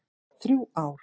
Þrjú ár.